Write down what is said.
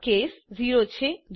આ કેસ 0 છે